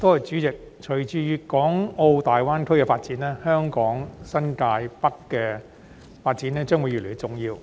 代理主席，隨着粵港澳大灣區的發展，香港新界北的發展將會越來越重要。